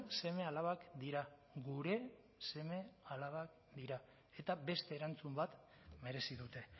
seme alabak dira gure seme alabak dira eta beste erantzun bat merezi dute